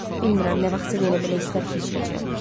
Bilmirəm nə vaxtsa yenə belə hissər keçirəcəyəm.